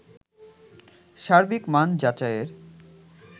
সার্বিক মান যাচাইয়ের